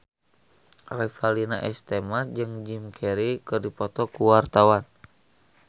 Revalina S. Temat jeung Jim Carey keur dipoto ku wartawan